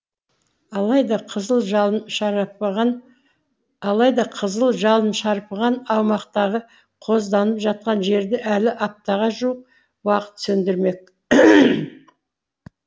алайда қызыл жалын алайда қызыл жалын шарпыған аумақтағы қозданып жатқан жерді әлі аптаға жуық уақыт сөндірмек